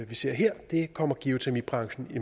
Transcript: vi ser her kommer geotermibranchen i